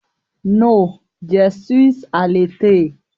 No, je suis à l'été